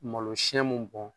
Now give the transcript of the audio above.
Malo siyɛn mun bɔn